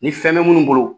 Ni fɛn bɛ minnu bolo